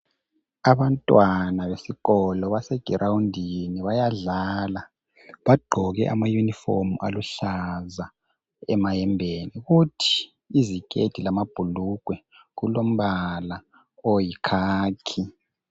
Abantwana besikolo, basegirawundini, bayadlala. Bagqoke amayujifomu aluhlaza. Kuthi iziketi lamabhulugwe kulombala oyikhakhi.